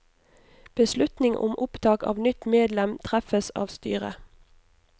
Beslutning om opptak av nytt medlem treffes av styret.